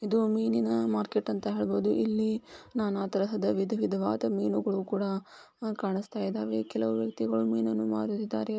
ಇದು ಒಂದು ಮೀನಿನ ಮಾರ್ಕೆಟ್ ಅಂತ ಹೇಳಬಹುದು .ಇಲ್ಲಿ ನಾನಾ ತರಹದ ವಿಧವಿಧವಾದ ಮೀನುಗಳು ಕೂಡ ಕಾಣಿಸ್ತಾ ಇದಾವೆ . ಕೆಲವು ವ್ಯಕ್ತಿಗಳು ಮೀನನ್ನು ಮಾರುತ್ತಿದ್ದಾರೆ .